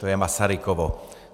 To je Masarykovo.